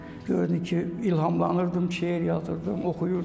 Gördüm ki, ilhamlanırdım, şeir yazırdım, oxuyurdum.